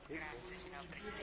Herr Präsident!